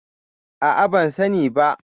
A'a, ban sani ba.